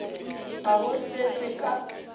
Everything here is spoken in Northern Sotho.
ga go se se ka